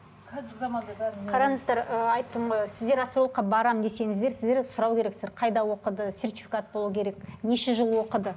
қазіргі заманда бәрін қараңыздар ы айтып тұрмын ғой сіздер астрологқа барам десеңіздер сіздер сұрау керексіздер қайда оқыды сертификат болу керек неше жыл оқыды